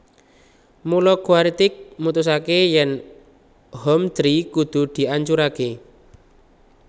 Mula Quaritch mutusaké yèn Hometree kudu diancuraké